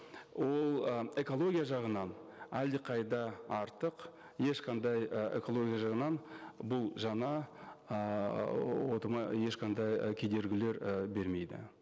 ол ы экология жағынан әлдеқайда артық ешқандай ы экология жағынан бұл жаңа ыыы отымы ешқандай ы кедергілер і бермейді